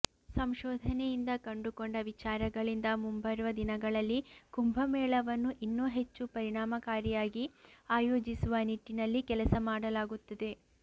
ಸಂಶೋಧನೆಯಿಂದ ಕಂಡುಕೊಂಡ ವಿಚಾರಗಳಿಂದ ಮುಂಬರುವ ದಿನಗಳಲ್ಲಿ ಕುಂಭ ಮೇಳವನ್ನು ಇನ್ನೂ ಹೆಚ್ಚು ಪರಿಣಾಮಕಾರಿಯಾಗಿ ಆಯೋಜಿಸುವ ನಿಟ್ಟಿನಲ್ಲಿ ಕೆಲಸ ಮಾಡಲಾಗುತ್ತದೆ